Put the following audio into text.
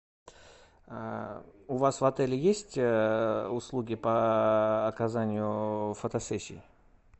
у вас в отеле есть услуги по оказанию фотосессий